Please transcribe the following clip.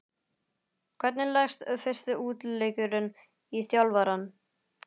Hvernig leggst fyrsti útileikurinn í þjálfarann?